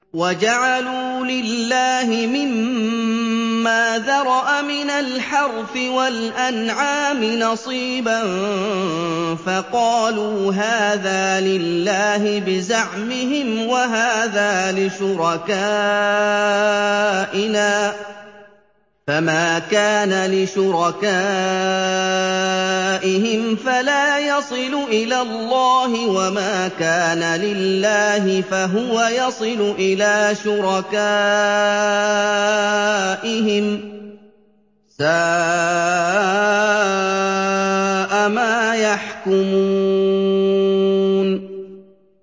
وَجَعَلُوا لِلَّهِ مِمَّا ذَرَأَ مِنَ الْحَرْثِ وَالْأَنْعَامِ نَصِيبًا فَقَالُوا هَٰذَا لِلَّهِ بِزَعْمِهِمْ وَهَٰذَا لِشُرَكَائِنَا ۖ فَمَا كَانَ لِشُرَكَائِهِمْ فَلَا يَصِلُ إِلَى اللَّهِ ۖ وَمَا كَانَ لِلَّهِ فَهُوَ يَصِلُ إِلَىٰ شُرَكَائِهِمْ ۗ سَاءَ مَا يَحْكُمُونَ